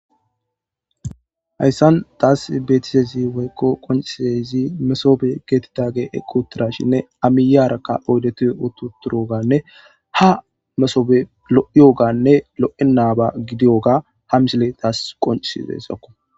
Haysan tas betizays woyko qoncizays mesobe getetizays eqi utidashn a miyiyaraka oydet uti utidogane ha masobe lo'iyogane lo'enaba gidiyoga ha misiley tas qoncisiyaysako.